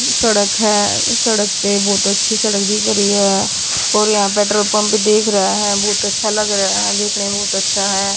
सड़क है सड़क पे बहोत अच्छी सड़क दिख रही है और यहां पेट्रोल पंप देख रहा है बहोत अच्छा लग रहा है देखने बहुत अच्छा है।